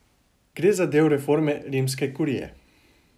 Gre za del reforme rimske kurije.